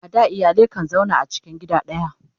a da iyalai kan zauna tare a cikin gida daya